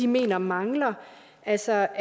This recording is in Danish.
mener mangler altså